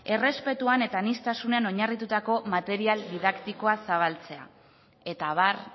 errespetuan eta aniztasunean oinarritutako material didaktikoa zabaltzea eta abar